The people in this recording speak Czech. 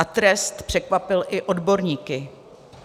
A trest překvapil i odborníky.